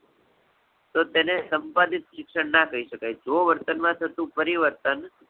તો તેને સંપાદિત શિક્ષણ ના કહી શકાય. જો વર્તન માં થતું પરિવર્તન